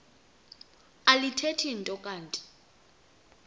alithethi nto kanti